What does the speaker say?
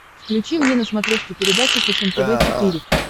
включи мне на смотрешке передачу фэшен тв четыре к